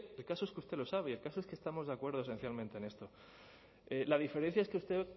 el caso es que usted lo sabe y el caso es que estamos de acuerdo esencialmente en esto la diferencia es que usted